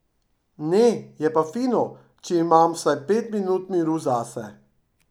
Ne, je pa fino, če imam vsaj pet minut miru zase.